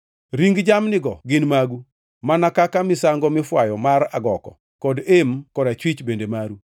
Ring jamnigo gin magu, mana kaka misango mifwayo mar agoko kod em korachwich bende maru.